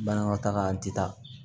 Banakɔtaga an ti taa